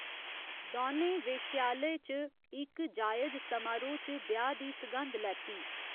दौनें वेश्यालय च इक जायज समारोह् च ब्याह् दी सघंद लैती।